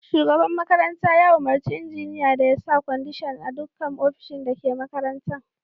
Shugaban makaranta ya umarci injiniya da ya sa kwandishan a dukkan ofishin da ke makarantan.